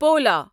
پولا